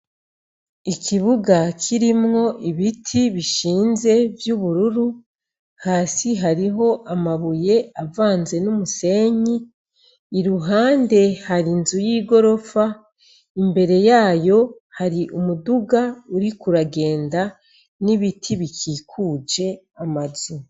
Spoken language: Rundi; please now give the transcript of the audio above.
Ikibuga kirimwo ibiti bishinze vy'ubururu, hasi hariho amabuye avanze n'umusenyi, iruhande hari inzu y'igorofa, imbere yayo hari umuduga uriko uragenda n'ibiti bikikuje amazu.